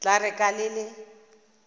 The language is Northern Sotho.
tla re ka le le